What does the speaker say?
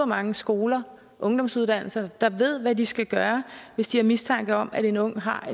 mange skoler og ungdomsuddannelser der ved hvad de skal gøre hvis de har mistanke om at en ung har